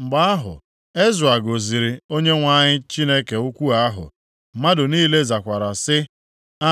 Mgbe ahụ, Ezra gọziri Onyenwe anyị Chineke ukwu ahụ, mmadụ niile zakwara sị;